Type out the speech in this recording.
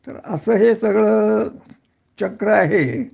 तर असं हे सगळं चक्र आहे